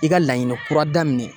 I ka laɲini kura daminɛ